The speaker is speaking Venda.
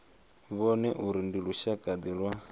vhone uri ndi lushakade lwa